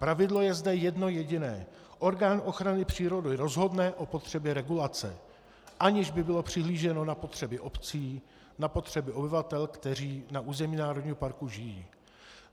Pravidlo je zde jedno jediné - orgán ochrany přírody rozhodne o potřebě regulace, aniž by bylo přihlíženo na potřeby obcí, na potřeby obyvatel, kteří na území národního parku žijí.